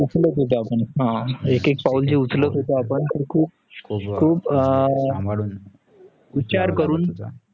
हा एक एक पाऊल उचलत होता खुप विचार करून होते आपण